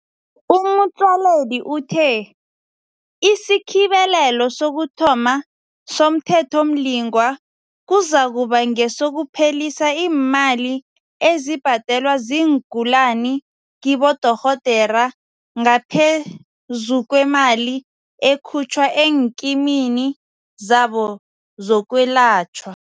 U-Motsoaledi uthe isikhibelelo sokuthoma somThethomlingwa kuzakuba nge sokuphelisa iimali ezibhadelwa ziingulani kibodorhodera ngaphezu kwemali ekhutjhwa eenkimini zabo zokwelatjhwa.